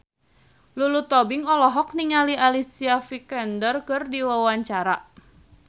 Lulu Tobing olohok ningali Alicia Vikander keur diwawancara